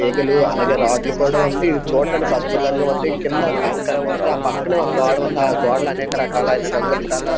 తీగలు అలాగే రాడ్లు కూడా ఉంది. ఇది చూడ్డానికి అద్భుతంగా ఉంది. కింద కంకర ఉంది. ఆ పక్కనే ఒక గోడ ఉంది. ఆ గోడ ల అనేక రకాలైన రంగులు కల --